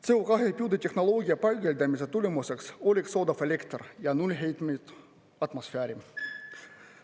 CO2 püüde tehnoloogia paigaldamise tulemuseks oleks odav elekter ja nulli heitmeid atmosfääri.